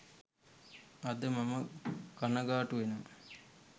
අද මම කණගාටු වෙනවා